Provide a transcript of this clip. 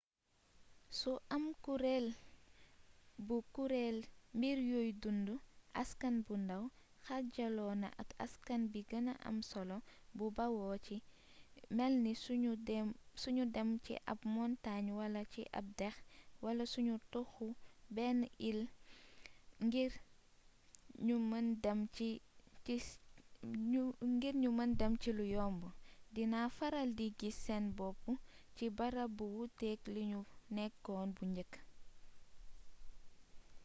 su am kurréel bu kuréel mbir yuy dundu askan bu ndàw xaajaloo na ak askan bi gëna am solo bu bawoo ci melni suñu dem ci ab montaañ wala ci ab dex wala sunu toxoo beneen iil ngir ñu mën dem ci lu yomb dina faral di gis seen bopp ci barab bu wuuteek liñu nekkoon bu njëkk